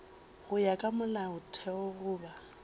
go ya ka molaotheo goba